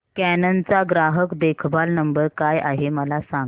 canon चा ग्राहक देखभाल नंबर काय आहे मला सांग